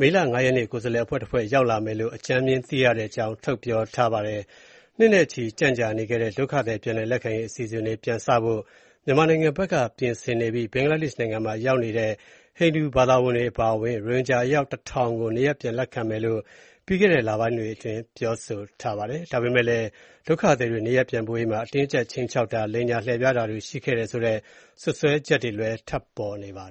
မေလ ၅ ရက်နေ့ ကိုယ်စားလှယ် အဖွဲ့တဖွဲ့ လာရောက်မယ်လို့ အကြမ်းဖျဉ်းသိရတဲ့အကြောင်း ပြောဆိုထားပါတယ်။ နှစ်နဲ့ချီကျန့်ကြာနေခဲ့တဲ့ ဒုက္ခသည်ပြန်လည်လက်ခံရေး အစီအစဉ်တွေ ပြန်စဖို့ မြန်မာနိုင်ငံဘက် ပြင်ဆင်နေပြီး ဘင်္ဂလားဒေ့ရှ်နိုင်ငံမှာ ရောက်နေတဲ့ ဟိန္ဒူဘာသာဝင်တွေအပါအဝင် ရိုဟင်ဂျာ အယောက် တထောင်ကို နေရပ်ပြန်လက်ခံမယ်လို့ ပြီးခဲ့တဲ့လပိုင်းတွေအတွင်း ပြောဆိုထားပါတယ်။ ဒါပေမဲ့လည်း ဒုက္ခသည်တွေ နေရပ်ပြန်ပို့ရေးမှာ အတင်းအကြပ် ခြိမ်းခြောက်တာ၊ လိမ်ညာ လှည့်ဖျားတာတွေ ရှိခဲ့တယ်ဆိုတဲ့ စွပ်စွဲချက်တွေလည်း ထွက်ပေါ်နေပါတယ်။